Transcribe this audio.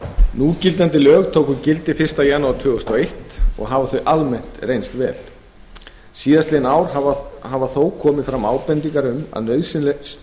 núgildandi lög tóku gildi fyrsta janúar tvö þúsund og eins og hafa almennt reynst vel síðastliðin ár hafa þó komið fram ábendingar um að